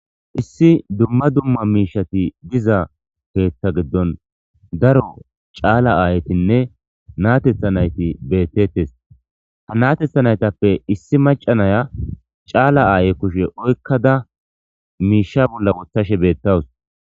Issi dumma dumma miishati diza keetha giddon daro caala aayetinne naatethanayti beettettes ha natetha naytappe issi macanaya caala aaye kushe oykkada miisha bolla wothashe beettawus.